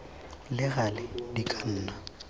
le gale di ka nna